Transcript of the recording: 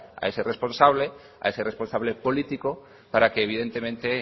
a ese responsable a ese responsable político para que evidentemente